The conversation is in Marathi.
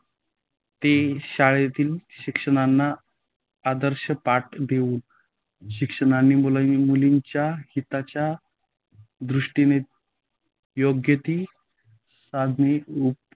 ते शाळांतील शिक्षकांना आदर्श पाठ देऊन, शिक्षकांनी मुलांच्या हिताच्य दृष्टीने योग्य त साधनेनी